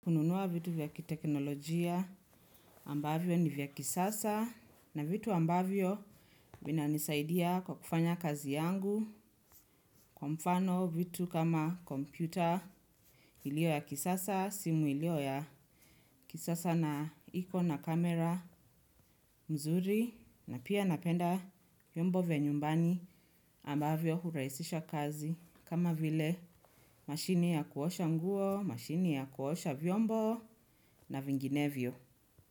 Kununua vitu vya kiteknolojia ambavyo ni vya kisasa na vitu ambavyo vinanisaidia kwa kufanya kazi yangu kwa mfano vitu kama kompyuta iliyo ya kisasa, simu iliyo ya kisasa na iko na kamera mzuri na pia napenda vyombo vya nyumbani ambavyo hurahisisha kazi kama vile mashini ya kuosha nguo, mashini ya kuosha vyombo na vinginevyo.